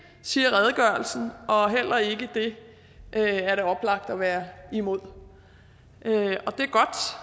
siger redegørelsen og heller ikke det er det oplagt at være imod det